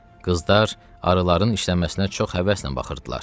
Qızlar arıların işləməsinə çox həvəslə baxırdılar.